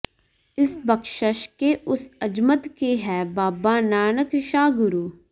ਇਸ ਬਖ਼ਸ਼ਿਸ਼ ਕੇ ਉਸ ਅਜ਼ਮਤ ਕੇ ਹੈਂ ਬਾਬਾਨਾਨਕ ਸ਼ਾਹ ਗੁਰੂ